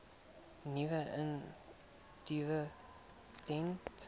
nuwe initiatiewe ten